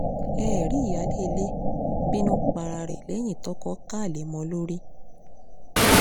eré ìyáálé ilé bínú para ẹ̀ lẹ́yìn toko ká alẹ́ mọ́ ọn lórí